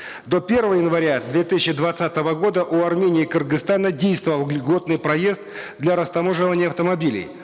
до первого января две тысячи двадцатого года у армении и кыргызстана действовал льготный проезд для растаможивания автомобилей